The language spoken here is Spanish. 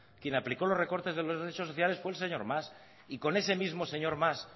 quien aplicó los recortes de los derechos sociales fue el señor mas y con ese mismo señor mas